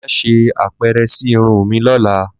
Ma sé apere si irun mi lọ́la